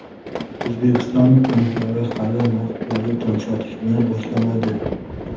O‘zbekiston banklari hali naqd valyuta sotishni boshlamadi.